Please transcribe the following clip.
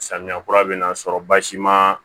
Samiya kura bɛ na sɔrɔ basi ma